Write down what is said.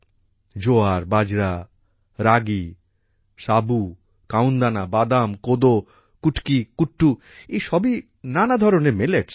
জোয়ার বাজরা রাগি সাবু কাওনদানা বাদাম কোদো কুটকি কুট্টু এইসবই নানা ধরনের মিলেটস